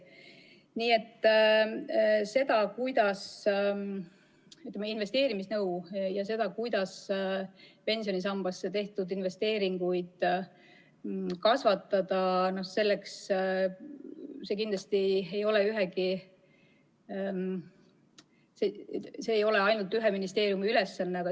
Seda, kuidas investeerimisnõu anda ja kuidas pensionisambasse tehtud investeeringuid kasvatada – see kindlasti ei ole ainult ühe ministeeriumi ülesanne.